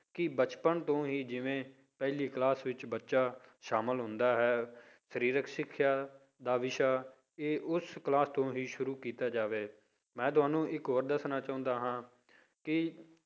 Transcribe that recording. ਕਿ ਬਚਪਨ ਤੋਂ ਹੀ ਜਿਵੇਂ ਪਹਿਲੀ class ਵਿੱਚ ਬੱਚਾ ਸ਼ਾਮਲ ਹੁੰਦਾ ਹੈ ਸਰੀਰਕ ਸਿੱਖਿਆ ਦਾ ਵਿਸ਼ਾ ਇਹ ਉਸ class ਤੋਂ ਹੀ ਸ਼ੁਰੂ ਕੀਤਾ ਜਾਵੇ, ਮੈਂ ਤੁਹਾਨੂੰ ਇੱਕ ਹੋਰ ਦੱਸਣਾ ਚਾਹੁੰਦਾ ਹਾਂ ਕਿ